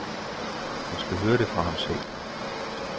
Hun skal høre det fra ham selv.